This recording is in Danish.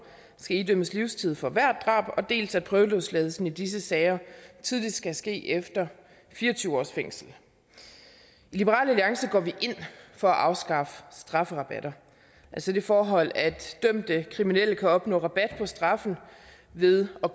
skal idømmes livstid for hvert drab dels at prøveløsladelsen i disse sager tidligst kan ske efter fire og tyve års fængsel i liberal alliance går vi ind for at afskaffe strafferabatter altså det forhold at dømte kriminelle kan opnå rabat på straffen ved at